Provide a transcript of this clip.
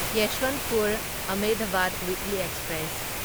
Yesvantpur Ahmedabad weekly express